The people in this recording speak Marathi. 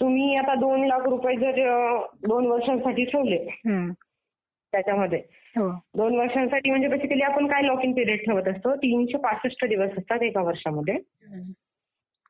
तुम्ही आता दोन लाख रुपये दोन वर्षांसाठी ठेवले त्याच्यामध्ये दोन वर्षांसाठी म्हणजे बेसिकली आपण काय लॉक इन पिरियड ठेवत असतो तीनशे पासष्ट दिवस असतात एका वर्षांमध्ये